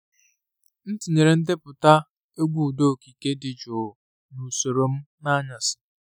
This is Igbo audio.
M tinyere ndepụta egwu ụda okike dị jụụ n’usoro m n’anyasị.